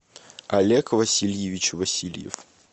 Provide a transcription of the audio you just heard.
олег васильевич васильев